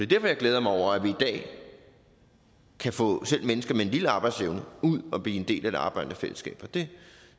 derfor jeg glæder mig over at vi i dag kan få selv mennesker med en lille arbejdsevne ud at blive en del af det arbejdende fællesskab og det